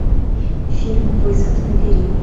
фильм вызов набери